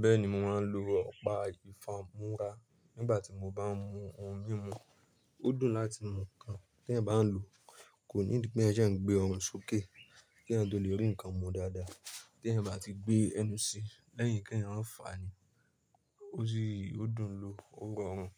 Bẹ́ẹ̀ni mo máa ń lo ọpa ìfámúrá nígbàtí mo bá ń mu ohun mímu. Ó dùn láti mu nǹkan tí ẹ bá ń lò, kò ní pé ẹ jẹ́ ẹ ń gbé ohun sókè kí ẹ tó lè rí nǹkan mu dáadáa. Tí ẹ bá ti gbé ẹnu sí lẹ́yìn kí ẹ rora màà fààní, ó sì yóò dùn ún lo. Ó rorùn